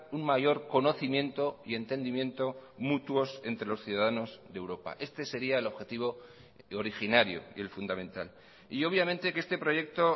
un mayor conocimiento y entendimiento mutuos entre los ciudadanos de europa este sería el objetivo originario y el fundamental y obviamente que este proyecto